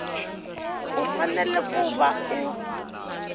u fanele ku va u